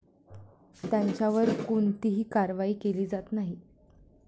त्यांच्यावर कोणतीही कारवाई केली जात नाही.